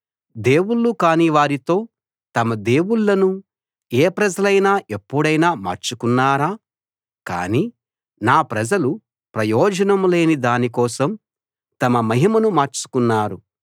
దేవుళ్ళు కాని వారితో తమ దేవుళ్ళను ఏ ప్రజలైనా ఎప్పుడైనా మార్చుకున్నారా కానీ నా ప్రజలు ప్రయోజనం లేని దాని కోసం తమ మహిమను మార్చుకున్నారు